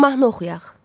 Mahnı oxuyaq.